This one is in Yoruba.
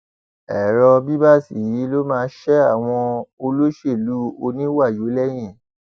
èrò bíbáṣ yìí ló máa ṣe àwọn olóṣèlú oníwàyó lẹyìn